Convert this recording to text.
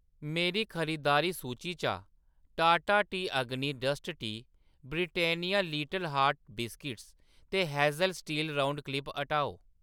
मेरी खरीदारी सूची चा Tata tea Agni dust tea, Britannia little hearts biscuits ते हेज़ल स्टील गोल क्लिप हटाओ।